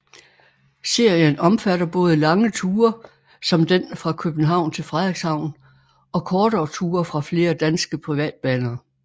Serien omfatter både lange ture som den fra København til Frederikshavn og kortere ture fra flere danske privatbaner